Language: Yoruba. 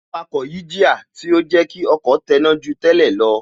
Awakọ̀ yí jíà, tí ó jẹ́ kí ọkọ̀ tẹná ju tẹ́lẹ̀ lọ